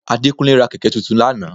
Adékúnlé ra kẹ̀kẹ́ tuntun lánàá